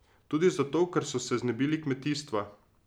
Tudi zato, ker so se znebili kmetijstva.